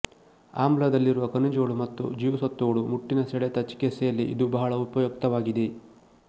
ಆಮ್ಲಾದಲ್ಲಿರುವ ಖನಿಜಗಳು ಮತ್ತು ಜೀವಸತ್ವಗಳು ಮುಟ್ಟಿನ ಸೆಳೆತ ಚಿಕಿತ್ಸೆಯಲ್ಲಿ ಇದು ಬಹಳ ಉಪಯುಕ್ತವಾಗಿದೆ